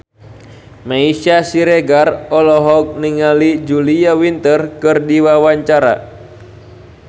Meisya Siregar olohok ningali Julia Winter keur diwawancara